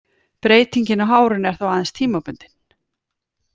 Breytingin á hárinu er þá aðeins tímabundin.